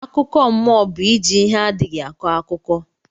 Akụkọ mụọ bu iji ihe adịghi akọ akụkọ